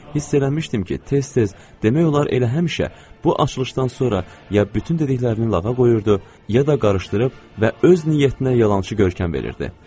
hiss eləmişdim ki, tez-tez, demək olar elə həmişə, bu açılışdan sonra ya bütün dediklərini lağa qoyurdu, ya da qarışdırıb və öz niyyətinə yalançı görkəm verirdi.